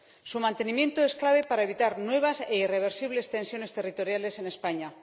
Su mantenimiento es clave para evitar nuevas e irreversibles tensiones territoriales en España.